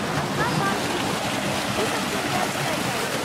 नमस्कार बालकृष्ण, की सब चलि रहल छै आइ काल्हि?